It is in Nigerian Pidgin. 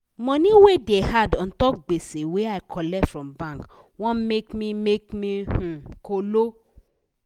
money wey da add untop gbese wey i colet from bank wan make me make me um kolo